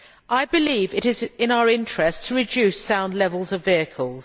I believe it is in our interests to reduce sound levels of vehicles.